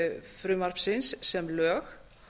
frumvarpsins sem lög